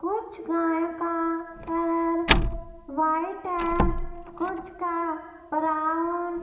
कुछ गाय का कलर व्हाइट है कुछ का ब्राउन ।